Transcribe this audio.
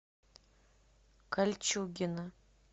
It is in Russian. кольчугино